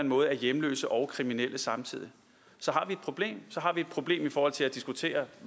måde er hjemløse og kriminelle samtidig så har vi et problem i forhold til at diskutere